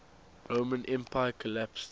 roman empire collapsed